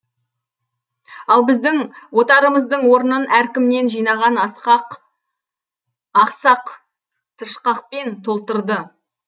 ал біздің отарымыздың орнын әркімнен жинаған ақсақ тышқақпен толтырды